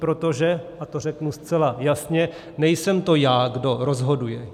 Protože, a to řeknu zcela jasně, nejsem to já, kdo rozhoduje.